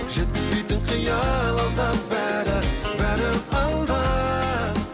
жеткізбейтін қиял алда бәрі бәрі алда